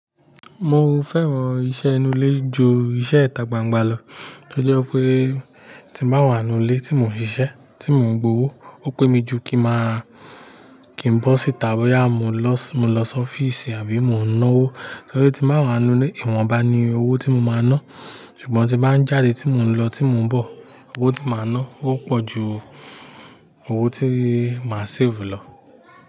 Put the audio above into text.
Mo fẹ́ràn iṣẹ́ inú ilé ju iṣẹ́ ìta gbangba lọ, to jẹ́ pé tí n ba wà n nú ilé tí mò ń ṣiṣẹ́, tí mò ń gbówó, ó pé mi jù kí n máa, kí n bọ́ síta bóyá mo lọ sí ọ́fíìsì àbí mò ń náwó, torí tí n ba wà n nú ilé, ìwọ̀n bá ni owó tí mo máa ná, ṣùgbọ́n tí bá ń jáde tí mò ń lọ, tí mò ń bọ̀, owó tí màá ná ó pọ̀ ju owó tí màá save lọ.